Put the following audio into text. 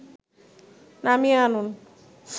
নামিয়ে আনুন